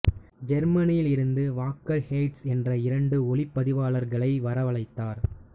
ஜெர்மனியில் இருந்து வாக்கர் பேய்ஸ் என்ற இரண்டு ஒளிப்பதிவளர்களை வரவழைத்தார்